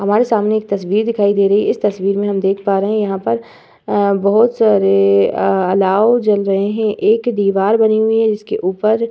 हमारे सामने तस्वीर दिखाई दे रही इस तस्वीर मे हम देख पा रहे यहां पर अ बोहोत सारे अलाव जल रहे हैं। एक दीवार बनी हुई है जिसके ऊपर --